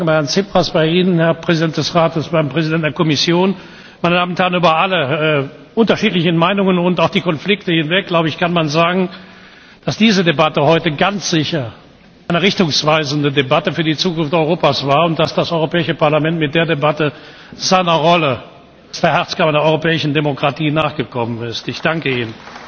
Ich darf mich bedanken bei Herrn Tsipras, bei Ihnen, Herr Präsident des Rates, beim Präsidenten der Kommission. Meine Damen und Herren! Über alle unterschiedlichen Meinungen und auch die Konflikte hinweg, glaube ich, kann man sagen, dass diese Debatte heute ganz sicher eine richtungsweisende Debatte für die Zukunft Europas war und dass das Europäische Parlament mit dieser Debatte seiner Rolle als der Herzkammer der europäischen Demokratie nachgekommen ist. Ich danke Ihnen.